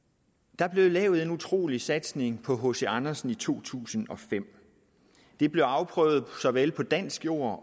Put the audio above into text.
der blev lavet en utrolig satsning på hc andersen i år to tusind og fem det blev afprøvet såvel på dansk jord